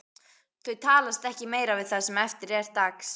Þau talast ekki meira við það sem eftir er dagsins.